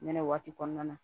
Nɛnɛ waati kɔnɔna na